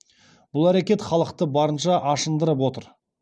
бұл әрекет халықты барынша ашындырып отыр